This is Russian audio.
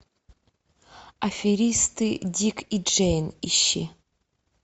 аферисты дик и джейн ищи